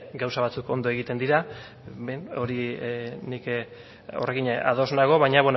gauza batzuk ondo egiten dira horrekin ados nago baina